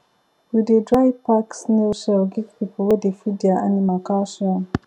we dey dry pack snail shell give people wey dey feed their animal calcium